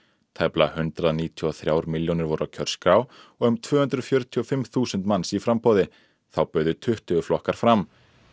tæplega hundrað níutíu og þrjár milljónir voru á kjörskrá og um tvö hundruð fjörutíu og fimm þúsund manns í framboði þá buðu tuttugu flokkar fram